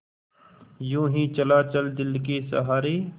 यूँ ही चला चल दिल के सहारे